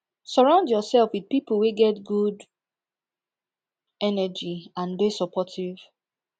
surround yourself with pipo wey get good energy and de supportive